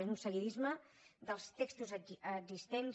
és un seguidisme dels textos existents